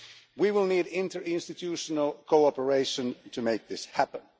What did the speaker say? We will need interinstitutional cooperation to make this happen.